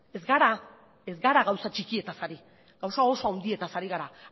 ez gara gauza txikietaz ari gauza oso handietaz ari gara